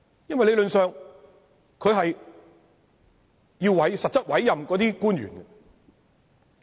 因為理論上，他是要實質委任官員的。